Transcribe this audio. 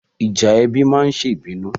Ìjà ẹbí ma ń sebí nù.